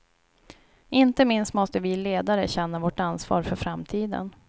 Inte minst måste vi ledare känna vårt ansvar för framtiden.